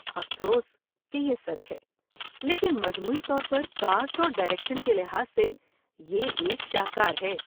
افسوس کہ یہ سچ ہے لیکن مجموعی طور پر کاسٹ اور ڈائریکشن کے لحاظ سے یہ ایک شاہکار ہے۔